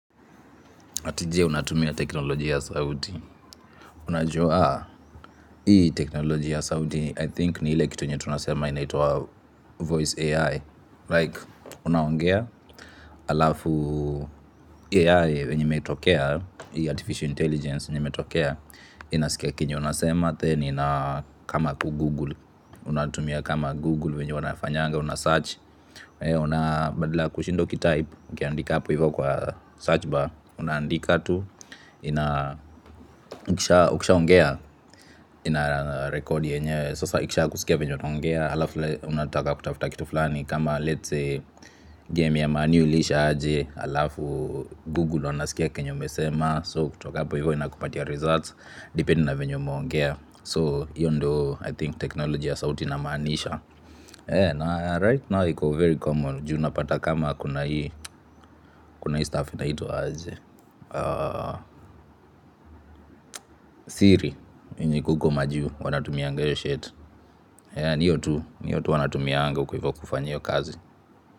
Ati je? Unatumia teknoloji ya sauti, unajua hii teknoloji ya sauti nadhani ni ile kitu yenye tunasema inaitwa voice AI Like unaongea alafu AI yenye imetokea, hii artificial intelligence yenye imetokea inasikia kenye unasema Then ina kama kugoogle, unatumia kama google wenye wanafanyanga, una search. Una badala kushinda uki type. Ukiandika hapo hivyo kwa search bar. Unaandika tu. Ina ukisha ongea ina record yenye sasa ikisha kusikia venye unaongea halafu unataka kutafuta kitu fulani. Kama let's say game ya man u iliisha aje halafu google wanasikia kenye umesema. So kutoka hapo hivyo inakupatia results. Depending na venye umuongea. So hiyo ndiyo I think technology ya sauti na maanisha And right now iko very common, juu unapata kama kuna hii, kuna hii staff ina itwa aje, siri, yenye iko huko majuu, wanatumianga hiyo shit, ni hiyo tu, ni hiyo tu wanatumianga huko hivo kufanya hiyo kazi.